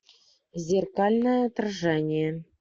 зеркальное отражение